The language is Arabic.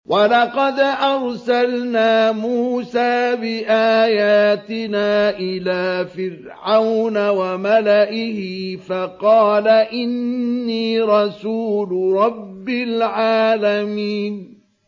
وَلَقَدْ أَرْسَلْنَا مُوسَىٰ بِآيَاتِنَا إِلَىٰ فِرْعَوْنَ وَمَلَئِهِ فَقَالَ إِنِّي رَسُولُ رَبِّ الْعَالَمِينَ